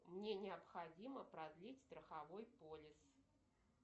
мне необходимо продлить страховой полис